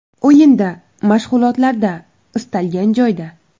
O‘yinda, mashg‘ulotlarda istalgan joyda.